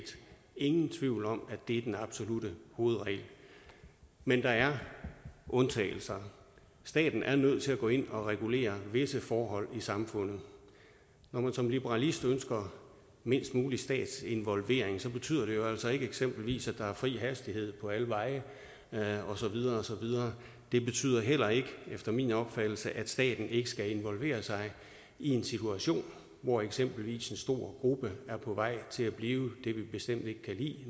ingen tvivl om at det er den absolutte hovedregel men der er undtagelser staten er nødt til at gå ind og regulere visse forhold i samfundet når man som liberalist ønsker mindst mulig statsinvolvering betyder det jo eksempelvis ikke at der er fri hastighed på alle veje og så videre og så videre det betyder heller ikke efter min opfattelse at staten ikke skal involvere sig i en situation hvor eksempelvis en stor gruppe er på vej til at blive det vi bestemt ikke kan lide